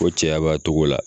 Ko cɛya b'a togo la